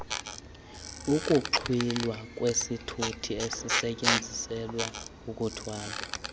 ukuxhwilwa kwesithuthiesisetyenziselwa ukuthwala